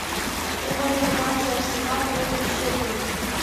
прямой эфир матча арсенал против шеффилда